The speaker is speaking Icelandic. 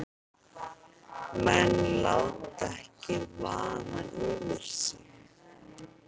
Menn láta ekki vaða yfir sig